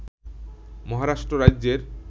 মহারাষ্ট্র রাজ্যের